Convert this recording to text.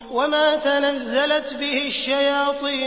وَمَا تَنَزَّلَتْ بِهِ الشَّيَاطِينُ